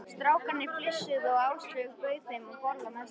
Strákarnir flissuðu og Áslaug bauð þeim að borða með sér.